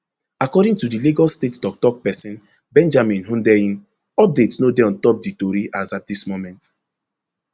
according to di lagos state toktok pesin benjamin hundeyin update no dey ontop di tori as at dis moment